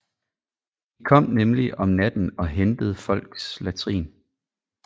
De kom nemlig om natten og hentede folks latrin